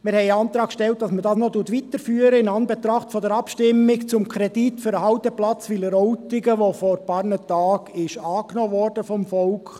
In Anbetracht der Abstimmung über den Kredit für den Halteplatz Wileroltigen, der vor einigen Tagen vom Volk angenommen wurde, haben wir den Antrag gestellt, dass man das noch weiterführt.